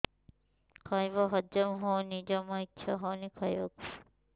ଖାଇବା ହଜମ ହଉନି ଜମା ଇଛା ହଉନି ଖାଇବାକୁ